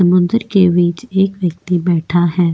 समुद्र के बीच एक व्यक्ति बैठा है.